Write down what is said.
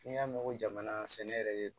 N'i y'a mɛn ko jamana sɛnɛ yɛrɛ de